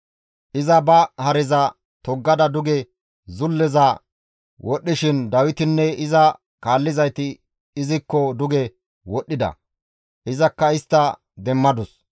Iza ba hareza toggada duge zulleza wodhdhishin Dawitinne iza kaallizayti izikko duge wodhdhida; izakka istta demmadus.